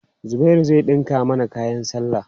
Zubairu zai ɗinka mana kayan sallah.